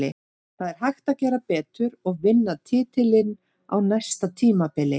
Það er hægt að gera betur og vinna titilinn á næsta tímabili.